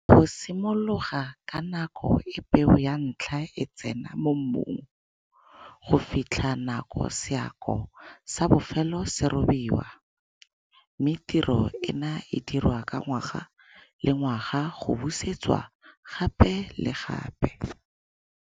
Go simologa ka nako e peo ya ntlha e tsena mo mmung go fitlhela nakoe seako sa bofelo se robiwa. Mme tiro ena e dirwe ka ngwaga le ngwaga go busetswa gape le gape.